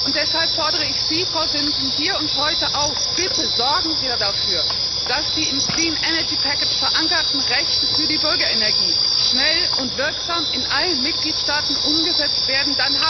Und deshalb fordere ich Sie, Frau Simson, hier und heute auf Bitte sorgen Sie dafür, dass die im Clean Energy Package verankerten Rechte für die Bürgerenergie schnell und wirksam in allen Mitgliedstaaten umgesetzt werden.